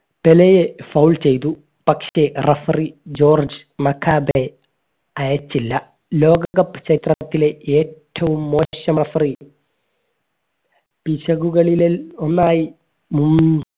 പെലെയെ foul ചെയ്തു പക്ഷേ referee George അയച്ചില്ല ലോക cup ചരിത്രത്തിലെ ഏറ്റവും മോശം referee പിശകുകളിൽ ഒന്നായി ഹും